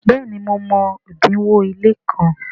béèni mo mọ odinwo ile kán.